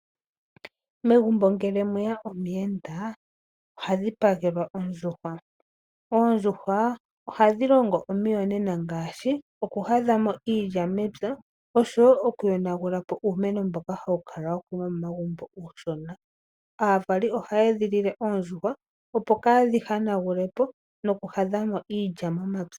Megumbo ngele mwe ya omuyenda oha dhipagelwa ondjuhwa. Oondjuhwa ohadhi longo omiyonena ngaashi okuhadha mo iilya mepya noshowo okuyonagula po uumeno mbono hawu kala wa kunwa momagumbo uushona. Aavali ohaya edhilile oondjuhwa, opo kaadhi hanagule po nokuhadha mo iilya momapya.